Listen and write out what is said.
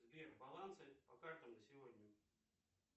сбер балансы по картам на сегодня